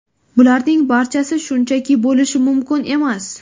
Bularning barchasi shunchaki bo‘lishi mumkin emas.